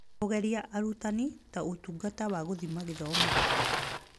Kũgeria arutani ta ũtungata ya gũthima gĩthomo